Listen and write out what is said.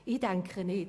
Das denke ich nicht.